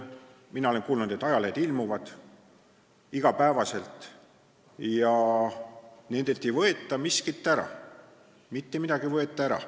Mina olen kuulnud, et ajalehed ilmuvad iga päev, ja kelleltki ei võeta mitte midagi ära.